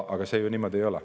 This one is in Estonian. Aga see ju niimoodi ei ole.